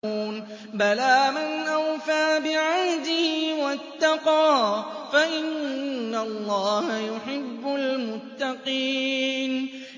بَلَىٰ مَنْ أَوْفَىٰ بِعَهْدِهِ وَاتَّقَىٰ فَإِنَّ اللَّهَ يُحِبُّ الْمُتَّقِينَ